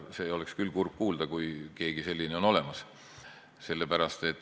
Seda oleks küll kurb kuulda, kui keegi selline on olemas.